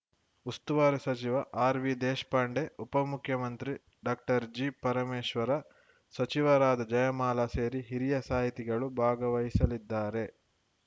ಉಸ್ತುವಾರಿ ಸಚಿವ ಆರ್‌ವಿ ದೇಶಪಾಂಡೆ ಉಪ ಮುಖ್ಯಮಂತ್ರಿ ಡಾಕ್ಟರ್ಜಿ ಪರಮೇಶ್ವರ ಸಚಿವರಾದ ಜಯಮಾಲಾ ಸೇರಿ ಹಿರಿಯ ಸಾಹಿತಿಗಳು ಭಾಗವಹಿಸಲಿದ್ದಾರೆ